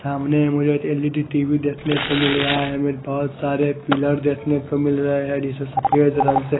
सामने में मुझे एल_ई_डी टी_वी देखने को मिल रहा है हमें बहुत सारे पिलर देखने को मिल रहे हैं जिसे सफेद रंग से --